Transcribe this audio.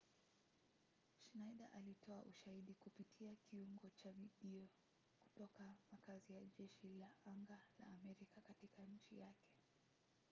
schneider alitoa ushahidi kupitia kiungo cha video kutoka makazi ya jeshi la anga la amerika katika nchi yake